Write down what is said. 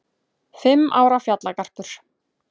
Fimm ára fjallagarpur